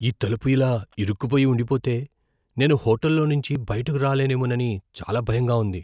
ఈ తలుపు ఇలా ఇరుక్కుపోయి ఉండిపోతే నేను హోటల్ లోంచి బయటకు రాలేనేమోనని చాలా భయంగా ఉంది.